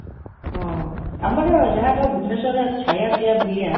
ହଁ, ଆମର ଯାହା କହ, ଭୁବନେଶ୍ୱରରେ ଖାଇବା, ପିଇବା, ବୁଲିବା,